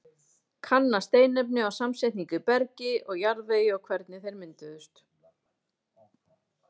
Kanna steinefni og samsetningu í bergi og jarðvegi og hvernig þeir mynduðust.